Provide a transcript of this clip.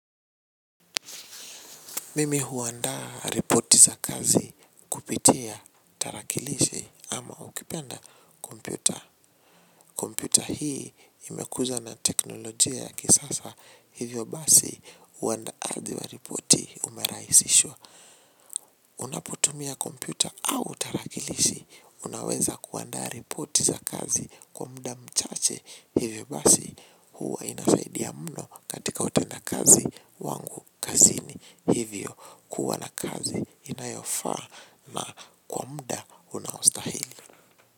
Mimi uandaa reporti za kazi kupitia tarakilishi ama ukipenda kompyuta. Kompyuta hii imekuzwa na teknolojia ya kisasa hivyo basi uandaaji wa reporti umerahisishwa. Unapotumia kompyuta au tarakilishi, unaweza kuandaa repoti za kazi kwa muda mchache hivyo basi huwa inasaidia mno katika utenda kazi wangu kazini hivyo kuwa na kazi inayofaa na kwa muda unaostahili.